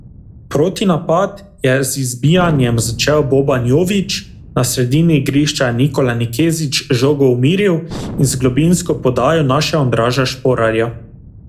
Protinapad je z izbijanjem začel Boban Jović, na sredini igrišča je Nikola Nikezić žogo umiril in z globinsko podajo našel Andraža Šporarja.